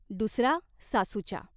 दुसरा सासूच्या.